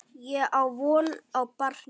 Ég á von á barni.